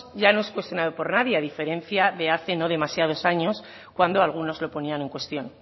ya no es cuestionado por nadie a diferencia de hace no demasiados años cuando algunos lo ponían en cuestión